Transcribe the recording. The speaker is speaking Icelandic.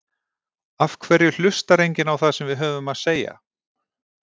Af hverju hlustar enginn á það sem við höfum að segja?